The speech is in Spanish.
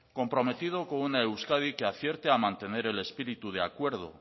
comprometido con una euskadi que acierte a mantener el espíritu de acuerdo